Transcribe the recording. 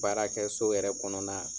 Baarakɛso yɛrɛ kɔnɔna